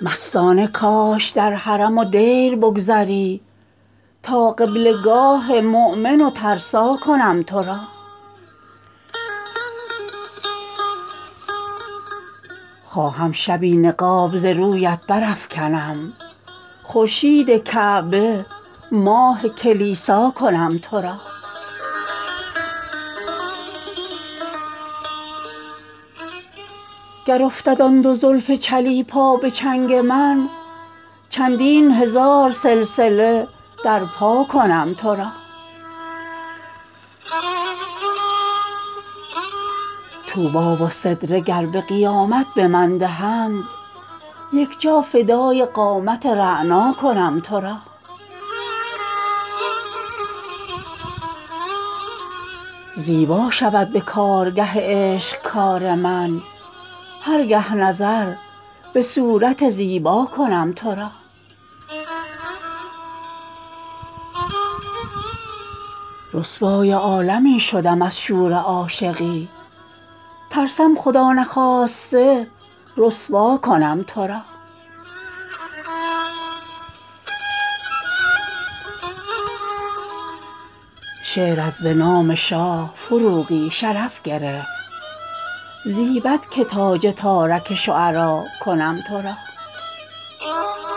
مستانه کاش در حرم و دیر بگذری تا قبله گاه مؤمن و ترسا کنم تو را خواهم شبی نقاب ز رویت برافکنم خورشید کعبه ماه کلیسا کنم تو را گر افتد آن دو زلف چلیپا به چنگ من چندین هزار سلسله در پا کنم تو را طوبی و سدره گر به قیامت به من دهند یک جا فدای قامت رعنا کنم تو را زیبا شود به کارگه عشق کار من هر گه نظر به صورت زیبا کنم تو را رسوای عالمی شدم از شور عاشقی ترسم خدا نخواسته رسوا کنم تو را با خیل غمزه گر به وثاقم گذر کنی میر سپاه شاه صف آرا کنم تو را جم دستگاه ناصردین شاه تاجور کز خدمتش سکندر و دارا کنم تو را شعرت ز نام شاه فروغی شرف گرفت زیبد که تاج تارک شعرا کنم تو را